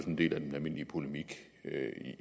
en del af den almindelige polemik